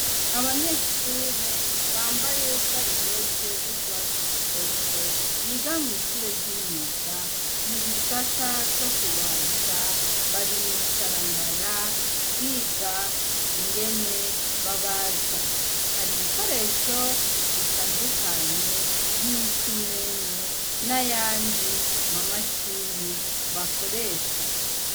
Abanyeshure bambaye sarubete z'urwatsi rutoto biga mw'ishure ry'imyuga mu gisata co kubaza bari mw'isaramara biga ingene babaza hari ibikoresho bitandukanye nk'imisumeno nayandi ma mashini bakoresha.